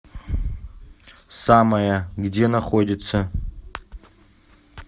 самая где находится